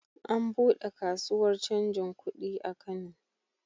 An buɗe kasuwar canjin kudi a Kano.